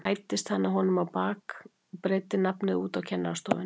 Svo hæddist hann að honum á bak og breiddi nafnið út á kennarastofunni.